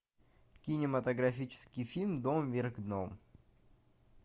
кинематографический фильм дом вверх дном